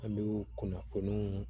An bɛ kunnafoniw